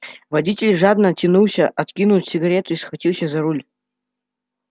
водитель жадно тянулся откинул сигарету и схватился за руль